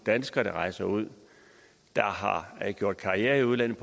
danskere der rejser ud og gør karriere i udlandet